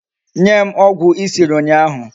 Nye m ogwu I siri unyahu